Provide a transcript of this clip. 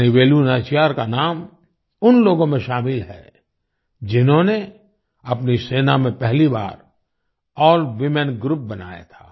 रानी वेलु नाचियार का नाम उन लोगों में शामिल है जिन्होंने अपनी सेना में पहली बार अल्वूमेन ग्रुप बनाया था